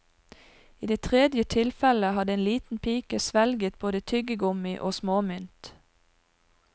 I det tredje tilfellet hadde en liten pike svelget både tyggegummi og småmynt.